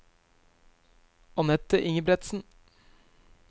Anette Ingebretsen